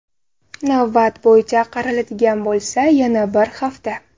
Navbat bo‘yicha qaraladigan bo‘lsa, yana bir hafta.